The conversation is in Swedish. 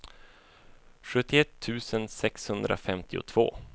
sjuttioett tusen sexhundrafemtiotvå